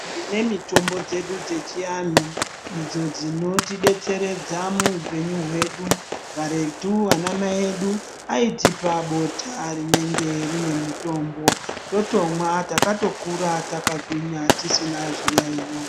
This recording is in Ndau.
Tine mitombo dzedu dzechivanhu idzo dzinotidetseredza muhupenyu hwedu . Karetu anamai edu aitipa bota rinenge rine mutombo totomwa takatokura takagwinya tisina zviyaiyo .